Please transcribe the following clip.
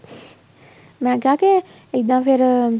ਮੈਂ ਕਿਹਾ ਇੱਦਾਂ ਫ਼ੇਰ